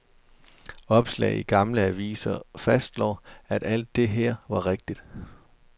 Opslag i gamle aviser fastslår, at alt det her var rigtigt.